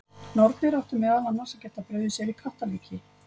Nornir áttu meðal annars að geta brugðið sér í kattarlíki.